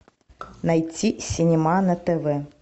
найти синема на тв